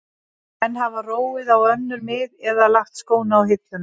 Menn hafa róið á önnur mið eða lagt skóna á hilluna.